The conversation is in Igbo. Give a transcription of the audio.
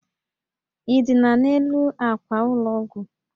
Ị dina n'elu àkwà ụlọ ọgwụ?